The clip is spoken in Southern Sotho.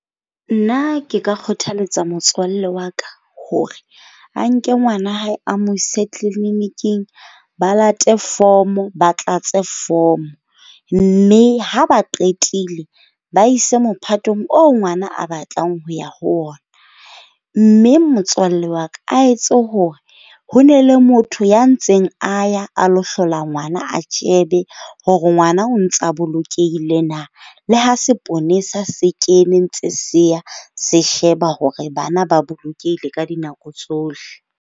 Nna ke ka kgothaletsa motswalle wa ka, hore a nke ngwana hae a mo ise clinic-ng. Ba late form-o. Ba tlatse form-o. Mme ha ba qetile ba ise mophatong oo ngwana a batlang ho ya ho ona. Mme motswalle wa ka a etse hore ho na le motho ya ntseng a ya a lo hlola ngwana, a shebe hore ngwana o ntsa bolokehile na. Le ha seponesa se kene ntse se ya, se sheba hore bana ba bolokehile ka dinako tsohle.